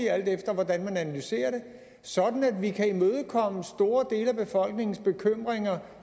alt efter hvordan man analyserer det sådan at vi kan imødekomme store dele af befolkningens bekymringer